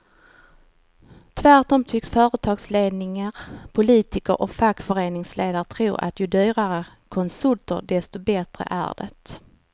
Tvärtom tycks företagsledningar, politiker och fackföreningsledare tro att ju dyrare konsulter desto bättre är det.